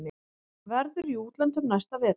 Verður í útlöndum næsta vetur.